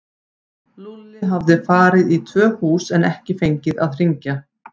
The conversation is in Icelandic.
Lúlli hafði farið í tvö hús en ekki fengið að hringja.